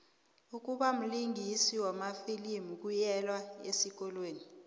ukubamlingisi wamafilimu kuyelwa esikolweni